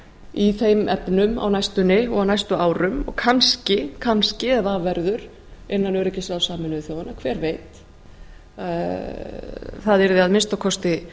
í þeim efnum á næstunni og næstum árum og kannski ef af verður innan öryggisráðs sameinuðu þjóðanna hver veit það yrði að minnsta kosti